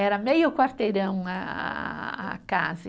Era meio quarteirão a a a, a casa.